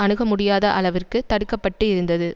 அணுக முடியாத அளவிற்கு தடுக்க பட்டு இருந்தது